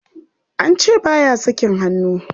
An ce ba ya sakin hannu.